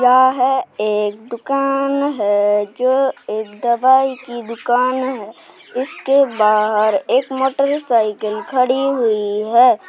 है एक दुकान है जो एक दवाई की दुकान है। इसके बाहर एक मोटरसाइकिल खड़ी हुई है।